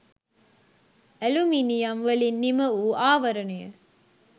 aluminium වලින් නිමවූ ආවරණය